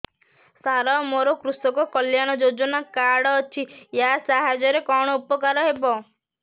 ସାର ମୋର କୃଷକ କଲ୍ୟାଣ ଯୋଜନା କାର୍ଡ ଅଛି ୟା ସାହାଯ୍ୟ ରେ କଣ ଉପକାର ହେବ